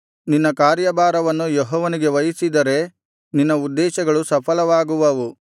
ನಿನ್ನ ಕಾರ್ಯಭಾರವನ್ನು ಯೆಹೋವನಿಗೆ ವಹಿಸಿದರೆ ನಿನ್ನ ಉದ್ದೇಶಗಳು ಸಫಲವಾಗುವವು